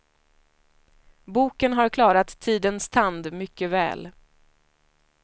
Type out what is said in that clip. Boken har klarat tidens tand mycket väl.